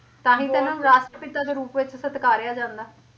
ਤਾਂਹੀ ਇਹਨਾਂ ਨੂੰ ਰਾਸ਼ਟਰ ਪਿਤਾ ਦੇ ਰੂਪ ਵਿੱਚ ਸਤਕਾਰਿਆ ਜਾਂਦਾ